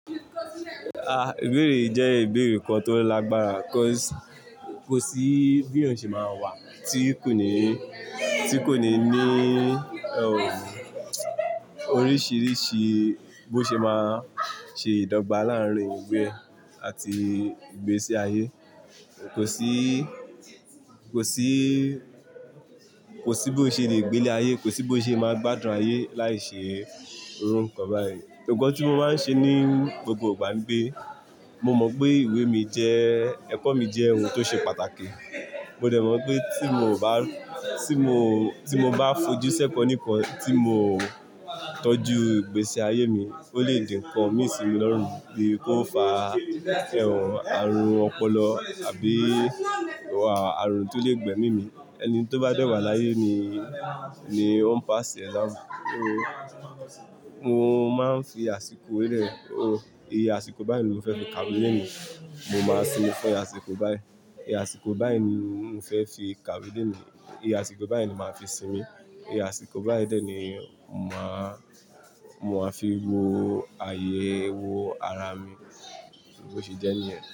Ah, ìbéèrè yìí jẹ́ ìbéèrè kan tó lágbára, 'cause kò sí bí èèyàn ṣe máa wà tí kò ní, tí kò ní ní, oh, oríṣìíríṣìí bó ṣe máa ṣe ìdọ́gba láàárín ìwé àti ìgbésí ayé. Kò sí, kò sí, kò sí bó ṣe le gbe ilé ayé, kò sí bó ṣe é máa gbádùn ayé láì ṣe irú nkán báyìí. Nǹkan tí mo máa ń ṣe ní gbogbo ìgbà ńi pé, mo mọ pé ìwé mi jẹ́, ẹ̀kọ́ mi jẹ́ ohun tó ṣe pàtàkì. Mo dẹ̀ mọ̀ pé tí mo bá, tí mo, tí mo bá fojú sẹ́kọ̀ níkan tí mo tọ́jú ìgbésí ayé mi, ó lè di ńkán mí sì mi lọ́rùn, bíi kó fà ẹ́hán, àrùn ọpọlọ àbí àrùn tó lè gbẹ́mí mì. Ẹni tó bá dé wa láyé ni, ni ó ń paasi exam. Oh, mo máa ń fi àsìkò lẹ́, oh, iye àsìkò báyìí ni mo fẹ́ fi kàwé léni. Mo máa sinmi fún iye àsìkò báyìí. Iye àsìkò báyìí ni mo fẹ́ fi kàwé léni. Iye àsìkò báyìí ni mo màá fi sinmi. Iye àsìkò báyìí dé ní màá, mo máa fi wo àyè, wo ara mi. Bó ṣe jẹ́ ní yẹn.